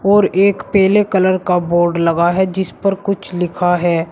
और एक पीले कलर का बोर्ड लगा है जिस पर कुछ लिखा है।